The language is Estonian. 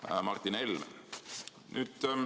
küsis Martin Helme.